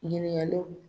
Ɲininkaliw